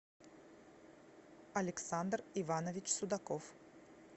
александр иванович судаков